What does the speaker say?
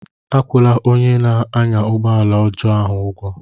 Akwụla onye na-anya ụgbọ ala ọjọọ ahu ụgwọ!